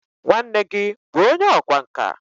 nwanne gi bu onye ọkwá nka?